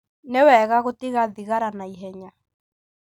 Nĩ wega gũtiga thigara na ihenya.